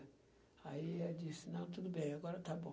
Aí ela disse, não, tudo bem, agora está bom.